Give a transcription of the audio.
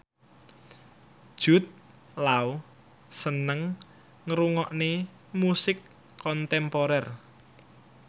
Jude Law seneng ngrungokne musik kontemporer